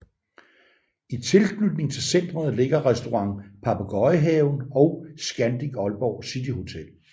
I tilknytning til centret ligger Restaurant Papegøjehaven og Scandic Aalborg City Hotel